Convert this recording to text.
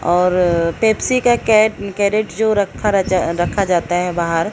और पेप्सी का कैट कैरेट्स जो रखा रचा रखा जाता है बाहर--